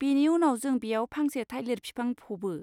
बेनि उनाव जों बेयाव फांसे थाइलिर बिफां फबो।